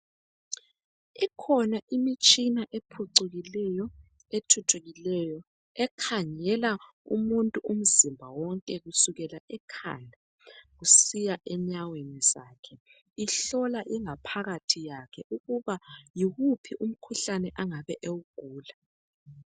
Ikhona imitshina ephucukileyo ,ethuthukileyo ekhangela umuntu umzimba wonke kusukela ekhanda kusiya enyaweni zakhe. ihlola ingaphakathi yakhe ukuba yiwuphi umkhuhlane engabe ewugula.